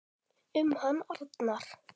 Um hann Arnar.